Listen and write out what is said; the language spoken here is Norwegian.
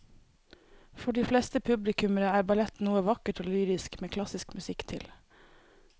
For de fleste publikummere er ballett noe vakkert og lyrisk med klassisk musikk til.